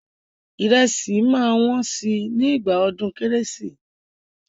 Ìrẹsì ṣì máa wọ́n sí nígbà ọdún kẹ́rẹ́sì.